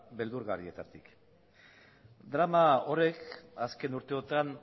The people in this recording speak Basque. beldurgarrietatik drama horrek azken urteotan